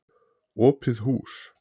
Opið hús.